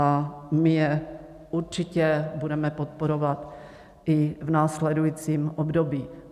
A my je určitě budeme podporovat i v následujícím období.